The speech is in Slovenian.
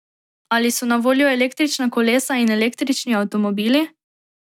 Ali so na voljo električna kolesa in električni avtomobili?